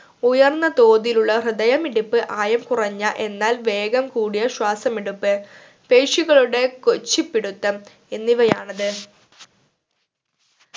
ഉയർന്ന തോതിലുള്ള ഹൃദയമിടിപ്പ് ആയം കുറഞ്ഞ എന്നാൽ വേഗം കൂടിയ ശ്വാസമെടുപ്പ് പേശികളുടെ കോച്ചിപ്പിടുത്തം എന്നിവയാണിത്